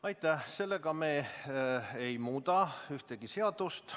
Selle hääletusega me ei muuda ühtegi seadust.